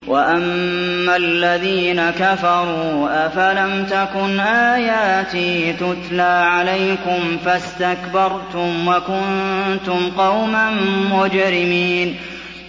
وَأَمَّا الَّذِينَ كَفَرُوا أَفَلَمْ تَكُنْ آيَاتِي تُتْلَىٰ عَلَيْكُمْ فَاسْتَكْبَرْتُمْ وَكُنتُمْ قَوْمًا مُّجْرِمِينَ